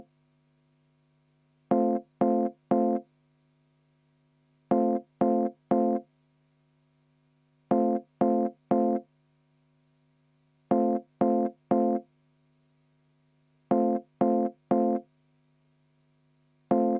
Aitäh, lugupeetud juhataja!